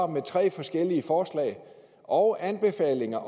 med tre forskellige forslag og anbefalinger